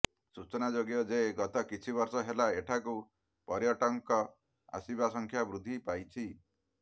ସୂଚନା ଯୋଗ୍ୟ ଯେ ଗତ କିଛିବର୍ଷ ହେଲା ଏଠାକୁ ପର୍ୟ୍ୟଟକଙ୍କ ଆସିବା ସଂଖ୍ୟା ବୃଦ୍ଦି ପାଇଛି